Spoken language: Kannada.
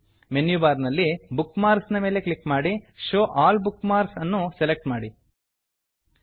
ಮನ್ಯು ಬಾರ್ ನಲ್ಲಿ ಬುಕ್ಮಾರ್ಕ್ಸ್ ನ ಮೇಲೆ ಕ್ಲಿಕ್ ಮಾಡಿ show all bookmarks show all bookmarks ಅನ್ನು ಸೆಲೆಕ್ಟ್ ಮಾಡಿ